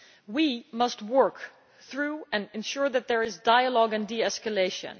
We must work through and ensure that there is dialogue and de escalation.